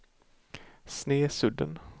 Snesudden